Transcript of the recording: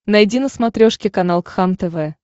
найди на смотрешке канал кхлм тв